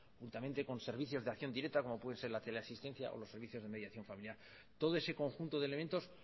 y también con servicios de acción directa como pueden ser la teleasistencia o los servicios de mediación familiar todo ese conjunto de elementos